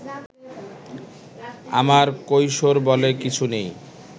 আমার কৈশোর বলে কিছু নেই